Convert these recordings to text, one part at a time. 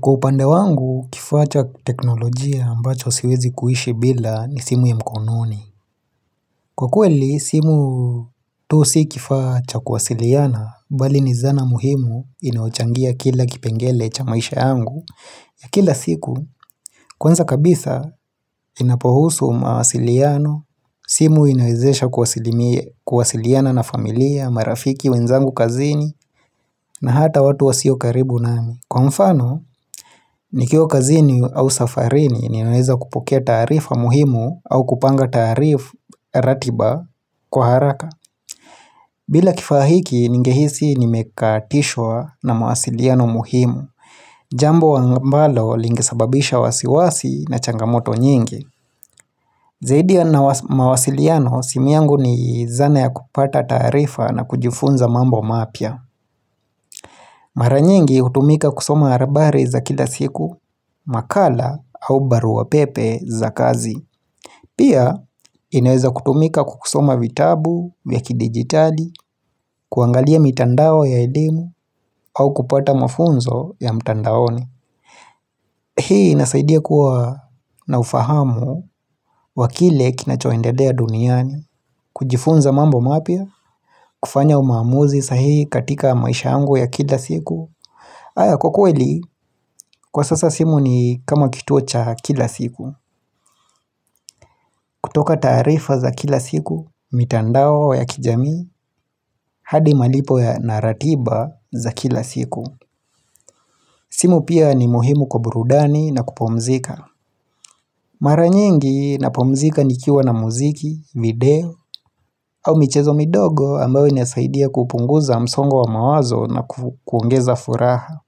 Kwa upande wangu, kifaa cha teknolojia ambacho siwezi kuishi bila ni simu ya mkononi. Kwa kweli, simu tu si kifaa cha kuwasiliana, bali ni zana muhimu inaochangia kila kipengele cha maisha yangu. Ya kila siku, kwanza kabisa, inapohusu mawasiliano, simu inawezesha kuwasiliana na familia, marafiki, wenzangu kazini, na hata watu wasio karibu nami. Kwa mfano, nikiwa kazini au safarini ninaweza kupokea taarifa muhimu au kupanga ratiba kwa haraka. Bila kifaa hiki, ningehisi nimekatishwa na mawasiliano muhimu. Jambo ambalo lingilesababisha wasiwasi na changamoto nyingi. Zaidi ya mawasiliano, simi yangu ni zana ya kupata taarifa na kujifunza mambo mapya. Mara nyingi hutumika kusoma habari za kila siku, makala au barua pepe za kazi. Pia inaweza kutumika kusoma vitabu, vya kidigitali, kuangalia mitandao ya elimu au kupata mafunzo ya mitandaoni. Hii inasaidia kuwa na ufahamu wa kile kinachoendelea duniani, kujifunza mambo mapya, kufanya uamuzi sahihi katika maisha yangu ya kila siku. Haya kwa kweli, kwa sasa simu ni kama kituo cha kila siku. Kutoka taarifa za kila siku, mitandao ya kijamii, hadi malipo ya na ratiba za kila siku. Simu pia ni muhimu kwa burudani na kupumzika. Mara nyingi napumzika nikiwa na muziki, video au michezo midogo ambayo inasaidia kupunguza msongo wa mawazo na kuongeza furaha.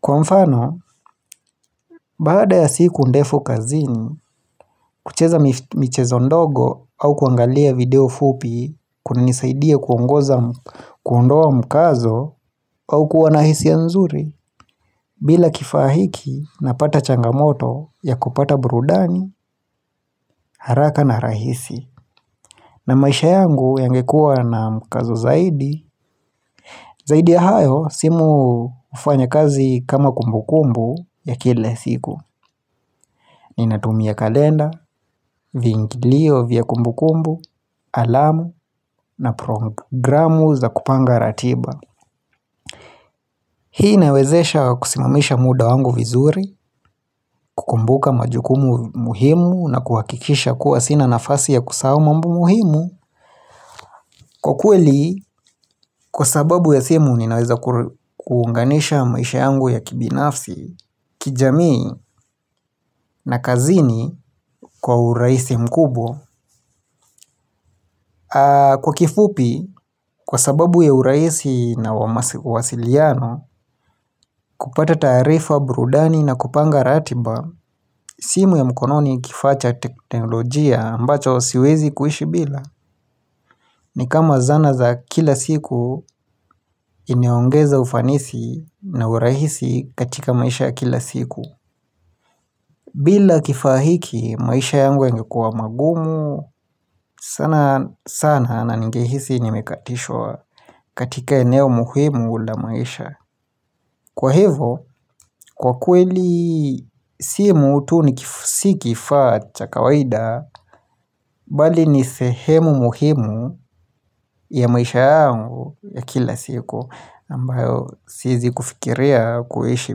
Kwa mfano, baada ya siku ndefu kazini, kucheza michezo ndogo au kuangalia video fupi kunanisaidia kuondoa mkazo au kuwa na hisia nzuri, bila kifaa hiki napata changamoto ya kupata burudani, haraka na rahisi. Na maisha yangu yangekua na mkazo zaidi Zaidi ya hayo, simu hufanya kazi kama kumbukumbu ya kila siku Ninatumia kalenda, viingilio vya kumbukumbu, alamu na programu za kupanga ratiba Hii inawezesha kusimamisha muda wangu vizuri, kukumbuka majukumu muhimu na kuhakikisha kuwa sina nafasi ya kusahau mambo muhimu Kwa kweli, kwa sababu ya simu ninaweza kuunganisha maisha yangu ya kibinafsi, kijamii na kazini kwa urahisi mkubwa Kwa kifupi, kwa sababu ya urahisi na uasiliano, kupata taarifa burudani na kupanga ratiba simu ya mkononi ni kifaa cha teknolojia ambacho siwezi kuishi bila ni kama zana za kila siku huniongeza ufanisi na urahisi katika maisha ya kila siku bila kifaa hiki maisha yangu yangekua magumu sana sana ningehisi nimekatishwa katika eneo muhimu la maisha Kwa hivo kwa kweli simu tu si kifaa cha kawaida Bali ni sehemu muhimu ya maisha yangu ya kila siku ambayo siezi kufikiria kuishi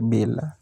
bila.